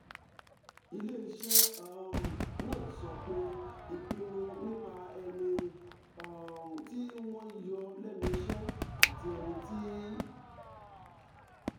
ilé iṣẹ́ um náà sọ pé ìpinnu nípa ẹni um tí wọ́n yọ lẹ́nu iṣẹ́ àti ẹni tí